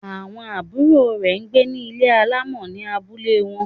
Àwọn àbúrò rẹ̀ n gbé ní Ilé alámọ̀ ní abúlé wọn